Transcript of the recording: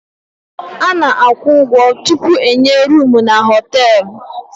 Ana akwụ ụgwọ tupu enye roomu n' hotelú.